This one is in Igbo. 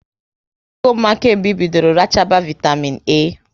Ị kago mma kemgbe ị bidoro rachaba vaitamịn A?